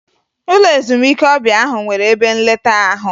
Ụlọ ezumike ọbịa ahụ nwere ebe nleta ahụ